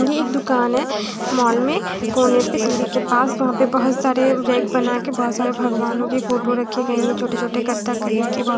ये एक दुकान है मॉल में कोने पे सीढ़ी के पास वहाँ पे बहोत सारे रैक बना के बहोत सारे भगवानों की फोटो रखी गई है छोटे-छोटे कथक कली की बहो --